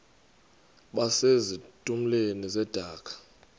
base zitulmeni zedaka